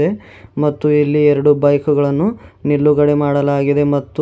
ಮತ್ತು ಇಲ್ಲಿ ಎರಡು ಬೈಕ್ ಗಳನ್ನು ನಿಲುಗಡೆ ಮಾಡಲಾಗಿದೆ ಮತ್ತು--